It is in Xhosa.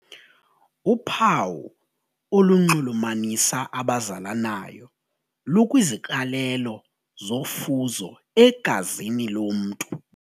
Uphawu olunxulumanisa abazalanayo lukwiziqalelo zofuzo egazini lomntu.